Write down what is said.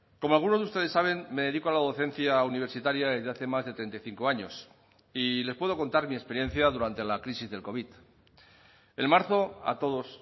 como algunos de ustedes saben me dedico a la docencia universitaria desde hace más de treinta y cinco años y les puedo contar mi experiencia durante la crisis del covid en marzo a todos